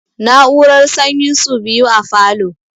Na'urar sanyin su biyu a falo